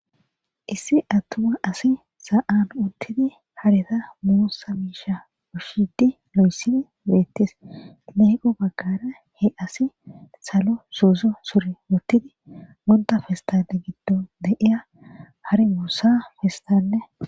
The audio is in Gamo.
Issi attuma asi sa'an uttidi hareta muussa biisha pushidi lo'essini beettis leeqo baggara he asi salo suuzo suri wuttidi bunda festae giddo deiya har muussa festanne.